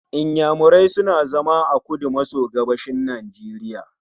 Inyamurai suna zama a kudu maso gabashin Nigeria